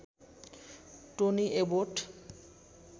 Tony Abbott